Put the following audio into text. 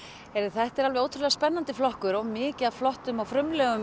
þetta er mjög spennandi flokkur og mikið af flottum og frumlegum